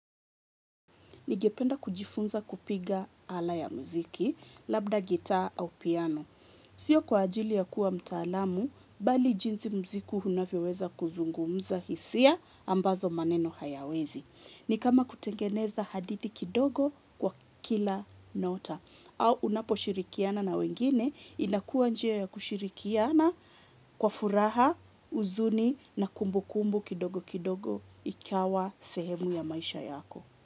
Ningependa kujifunza kupiga ala ya muziki, labda gitaa au piano. Sio kwa ajili ya kuwa mtaalamu, bali jinsi muziku unavyoweza kuzungumza hisia, ambazo maneno hayawezi. Ni kama kutengeneza hadithi kidogo, kwa kila nyota. Au unaposhirikiana na wengine, inakuwa njia ya kushirikiana kwa furaha, uzuni na kumbukumbu kidogo kidogo ikawa sehemu ya maisha yako.